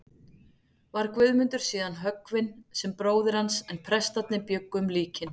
Var Guðmundur síðan höggvinn sem bróðir hans, en prestarnir bjuggu um líkin.